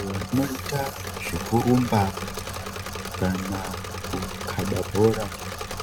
Vanoita zvekurumba kana kukaba bhora